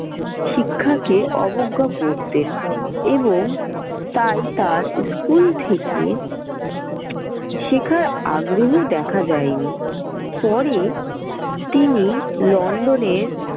শিক্ষাকে অবজ্ঞা করতেন এবং তাই তাঁর school থেকে শেখার আগ্রহ দেখা যায়নি। পরে তিনি London এর।